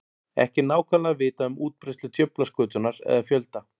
Ekki er nákvæmlega vitað um útbreiðslu djöflaskötunnar eða fjölda.